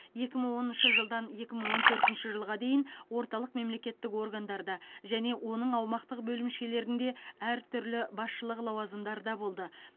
екі мың оныншы жылдан екі мың он төртінші жылға дейін орталық мемлекеттік органдарда және оның аумақтық бөлімшелерінде әртүрлі басшылық лауазымдарда болды